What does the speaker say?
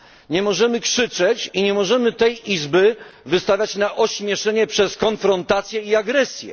Nie możemy krzyczeć i nie możemy tej Izby wystawiać na ośmieszenie przez konfrontację i agresję.